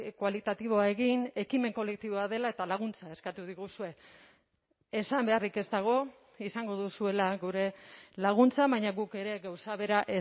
kualitatiboa egin ekimen kolektiboa dela eta laguntza eskatu diguzue esan beharrik ez dago izango duzuela gure laguntza baina guk ere gauza bera